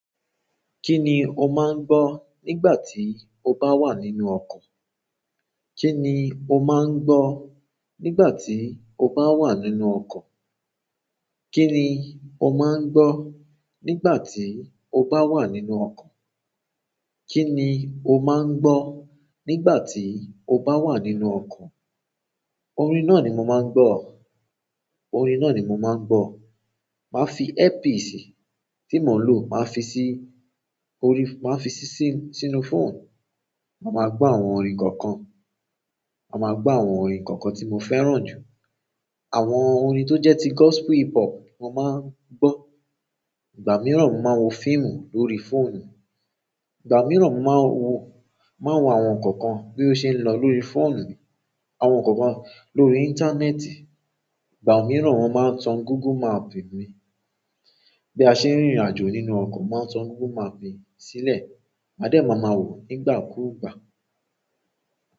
Kí ni o máa ń gbọ́ nígbà tí o bá wà nínú ọkọ̀? Kí ni o máa ń gbọ́ nígbà tí o bá wà nínú ọkọ̀? Kí ni o máa ń gbọ́ nígbà tí o bá wà nínú ọkọ̀? Kí ni o máa ń gbọ́ nígbà tí o bá wà nínú ọkọ̀? Orin náà ni mo máa ń gbọ́. Orin náà ni mo máa ń gbọ́. Màá fi earpiece tí mo ń lò, màá fi sí orí, màá fi sí sínú, sínú phone. Màá ma gbọ́ àwọn orin kọ̀ọ̀kan. Màá ma gbọ́ àwọn orin kọ̀ọ̀kan tí mo fẹ́ràn jù. Àwọn orin tó jẹ́ ti gospel hip hop mo máa ń gbọ́. Ìgbà mìíràn mo máa wo fíìmù lórí fóònù. Ìgbà mìíràn mo máa wo, máa wo àwọn nǹkan kan bí ó ṣe ń lọ lórí fóònù, àwọn nǹkan kan lórí íńtánẹ́ẹ̀tì. Ìgbà mìíràn mo máa ń tan Google Map mi. Bí a ṣe ń rìnrìnàjò nínú ọkọ̀, mo máa n tan Google Map mi sílẹ̀. Màá dẹ̀ máa ma wò ó nígbà kúùgbà.